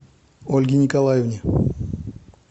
ольге николаевне